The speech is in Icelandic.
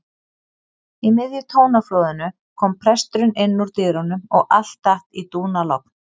Í miðju tónaflóðinu kom presturinn innúr dyrunum og allt datt í dúnalogn.